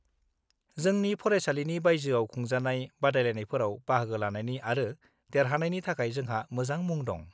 जोंनि फरायसालिनि बायजोआव खुंजानाय बादायलायनायफोराव बाहागो लानायनि आरो देरहानायनि थाखाय जोंहा मोजां मुं दं।